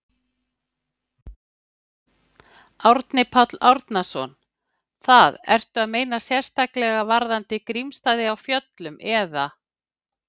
Árni Páll Árnason: Það, ertu að meina sérstaklega varðandi Grímsstaði á Fjöllum, eða?